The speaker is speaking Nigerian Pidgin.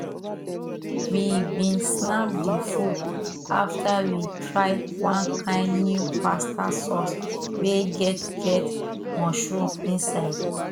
we been snap the food after we try one kind new pasta sauce wey get get mushroom inside